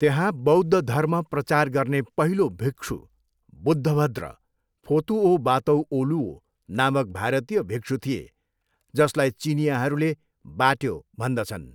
त्यहाँ बौद्ध धर्म प्रचार गर्ने पहिलो भिक्षु बुद्धभद्र, फोतुओबातौओलुओ, नामक भारतीय भिक्षु थिए, जसलाई चिनियाँहरूले बाट्यो भन्दछन्।